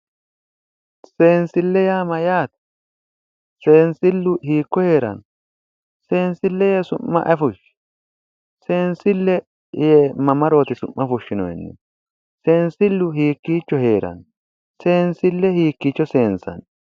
Seensille yaa mayyaate seensillu hiikko heeranno seensille yee su'ma ayi fushshi seensille yine mamarooti su'mma fushshinoysihu seensillu hiikko heeranno seensille hiikkiicho seensanni